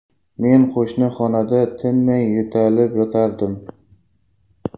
Men qo‘shni xonada tinmay yo‘talib yotardim.